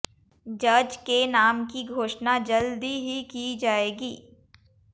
जज के नाम की घोषणा जल्दी ही की जाएगी